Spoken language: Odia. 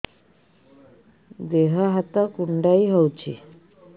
ଦେହ ହାତ କୁଣ୍ଡାଇ ହଉଛି